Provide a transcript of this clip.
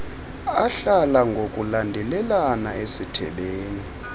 ahlala ngokulandelana esithebeni